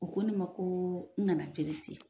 U ko ne ma ko n ka na